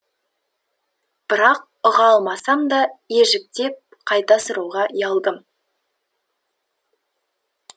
бірақ ұға алмасам да ежіктеп қайта сұрауға ұялдым